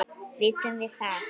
Vitum við það?